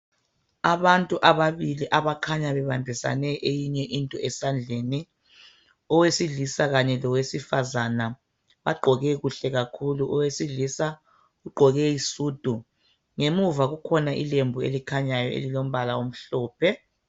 Abantu abantu ababili abakhanya bebambisene eyinye into esandleni, owesilisa kanye lowesifazana. Bagqoke kuhle kakhulu. Owesilisa ugqoke isudu. Ngemuva kukhona ilembu elikhanyayo elilombala omhlophe.